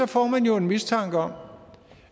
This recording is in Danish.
får man jo en mistanke om